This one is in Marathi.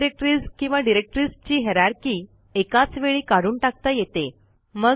अनेक डिरेक्टरीज किंवा डिरेक्टरीजची हायररची एकाच वेळी काढून टाकता येते